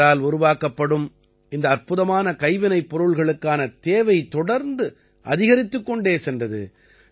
இவரால் உருவாக்கப்படும் இந்த அற்புதமான கைவினைப்பொருளுக்கான தேவை தொடர்ந்து அதிகரித்துக் கொண்டே சென்றது